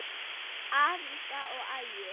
Alda og Ægir.